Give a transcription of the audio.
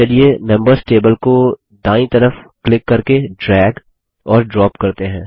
चलिए members table को दायीं तरफ क्लिक करके ड्रैग और ड्रॉप करते हैं